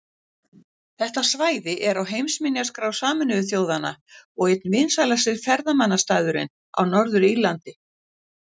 Þetta svæði er á heimsminjaskrá Sameinuðu þjóðanna og einn vinsælasti ferðamannastaðurinn á Norður-Írlandi.